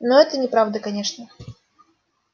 но это неправда конечно